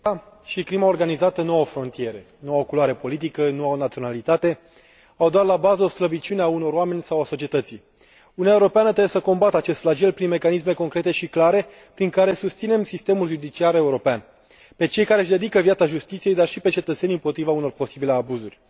Doamnă Președintă, corupția și crima organizată nu au frontiere, nu au culoare politică, nu au naționalitate, au doar la bază o slăbiciune a unor oameni sau a societății. Uniunea Europeană trebuie să combată acest flagel prin mecanisme concrete și clar, prin care să susținem sistemul judiciar european, pe cei care își dedică viața justiției, dar și pe cetățeni împotriva unor posibile abuzuri.